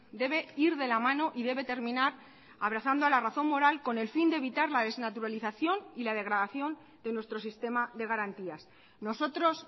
debe ir de la mano y debe terminar abrazando a la razón moral con el fin de evitar la desnaturalización y la degradación de nuestro sistema de garantías nosotros